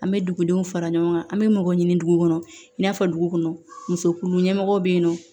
An bɛ dugudenw fara ɲɔgɔn kan an bɛ mɔgɔw ɲini dugu kɔnɔ i n'a fɔ dugu kɔnɔ musokulu ɲɛmɔgɔ bɛ yen nɔ